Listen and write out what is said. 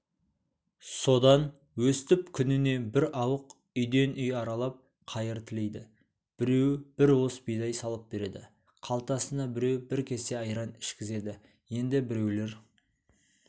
содан өстіп күніне бір ауық үйден үй аралап қайыр тілейді біреу бір уыс бидай салып береді қалтасына біреу бір кесе айран ішкізеді енді біреулер